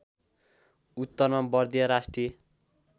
उत्तरमा बर्दिया राष्ट्रिय